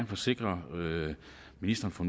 forsikre ministeren for